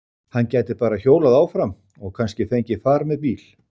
Hann gæti bara hjólað áfram og kannski fengið far með bíl.